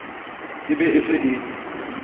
e be e se e